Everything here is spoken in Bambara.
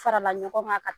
Farala ɲɔgɔn kan